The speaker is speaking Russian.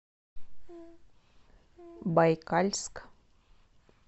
байкальск